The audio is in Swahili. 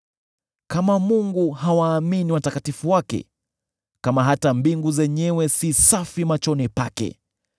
Kama Mungu hawaamini watakatifu wake, kama hata mbingu zenyewe si safi machoni pake,